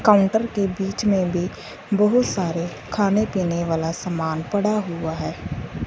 Counter के बीच में भी बहुत सारे खाने पीने वाला सामान पड़ा हुआ है।